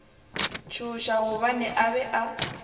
tšhoša gobane a be a